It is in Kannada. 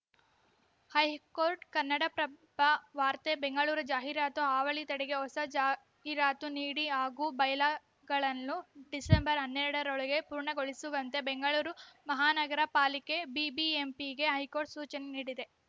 ಹೈಕೋರ್ಟ್‌ ಕನ್ನಡಪ್ರಭ ವಾರ್ತೆ ಬೆಂಗಳೂರು ಜಾಹೀರಾತು ಹಾವಳಿ ತಡೆಗೆ ಹೊಸ ಜಾಹೀರಾತು ನೀತಿ ಹಾಗೂ ಬೈಲಾಗಳನ್ನು ಡಿಸೆಂಬರ್ ಹನ್ನೆರಡರೊಳಗೆ ಪೂರ್ಣಗೊಳಿಸುವಂತೆ ಬೆಂಗಳೂರು ಮಹಾನಗರ ಪಾಲಿಕೆ ಬಿಬಿಎಂಪಿಗೆ ಹೈಕೋರ್ಟ್‌ ಸೂಚನೆ ನೀಡಿದೆ